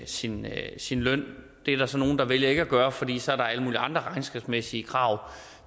sin sin løn det er der så nogle der vælger ikke at gøre fordi så er der alle mulige andre regnskabsmæssige krav